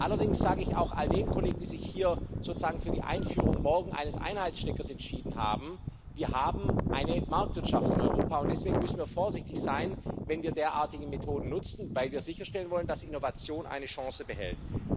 Allerdings sage ich auch all den Kollegen, die sich hier morgen sozusagen für die Einführung eines Einheitssteckers entscheiden Wir haben eine Marktwirtschaft in Europa, und deswegen müssen wir vorsichtig sein, wenn wir derartige Methoden nutzen, weil wir sicherstellen wollen, dass Innovation eine Chance behält.